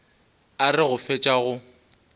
a re go fetša go